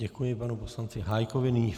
Děkuji panu poslanci Hájkovi.